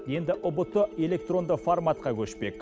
енді ұбт электронды форматқа көшпек